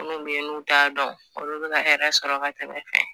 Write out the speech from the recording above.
Minnu beyi n'u t'a dɔn olu bɛna hɛrɛ sɔrɔ ka tɛmɛ e kɛ.